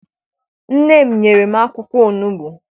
Nne m nyere m akwụkwọ onugbu.